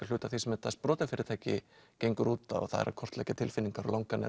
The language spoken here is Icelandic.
hluti af því sem þetta sprotafyrirtæki gengur út á það er að kortleggja tilfinningar langanir